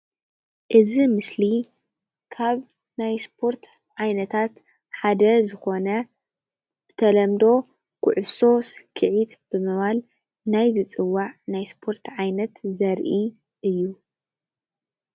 እዚ ምስሊ ካብ ናይ ስፖርት ዓይነታት ሓደ ዝኾነ ብተለምዶ ኩዕሶ ስኪዒት ብምባል ናይ ዝፅዋዕ ናይ ስፖርቲ ዓይነት ዘርኢ እዩ፡፡